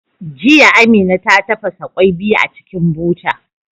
Jiya, Amina ta tafasa kwai biyu a cikin buta.